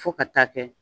Fo ka taa kɛ